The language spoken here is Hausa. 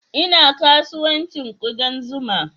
Ina kasuwancin kudan zuma